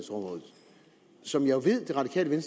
som jeg ved at de radikale